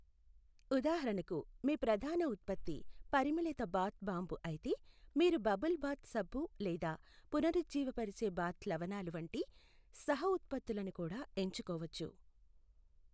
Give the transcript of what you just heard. ఉదాహరణకు, మీ ప్రధాన ఉత్పత్తి పరిమళిత బాత్ బాంబు అయితే, మీరు బబుల్ బాత్ సబ్బు లేదా పునరుజ్జీవపరిచే బాత్ లవణాలు వంటి సహ ఉత్పత్తులను కూడా ఎంచుకోవచ్చు.